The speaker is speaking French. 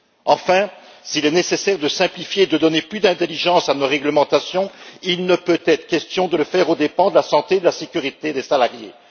Enfin, s'il est nécessaire de simplifier, de donner plus d'intelligence à nos réglementations, il ne peut être question de le faire aux dépens de la santé et de la sécurité des salariés.